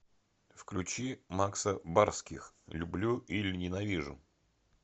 включи макса барских люблю или ненавижу